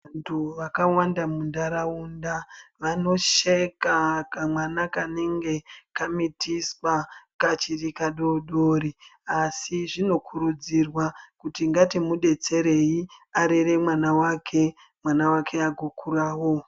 Vantu vakawanda muntaraunda vanosheka kamwana kanenge kamitiswa kachiri kadodori. Asi zvinokurudzirwa kuti ngatimubetserei arere mwana vake mwana vake agokuravo.